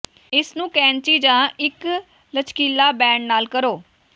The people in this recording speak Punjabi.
ਇਸ ਨੂੰ ਕੈਚੀ ਜਾਂ ਇੱਕ ਲਚਕੀਲਾ ਬੈਂਡ ਨਾਲ ਕਰੋ